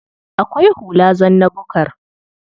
Akwai hula zanna-bukar.